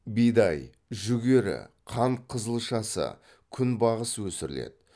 бидай жүгері қант қызылшасы күнбағыс өсіріледі